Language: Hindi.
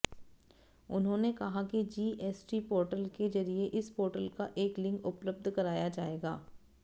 उन्होंने कहा कि जीएसटी पोर्टल के जरिए इस पोर्टल का एक लिंक उपलब्ध कराया जाएगा